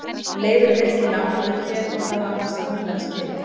En Leifur er virkilega ánægður hér og það á hann sannarlega skilið.